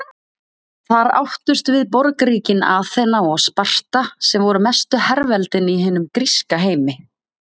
Þar áttust við borgríkin Aþena og Sparta sem voru mestu herveldin í hinum gríska heimi.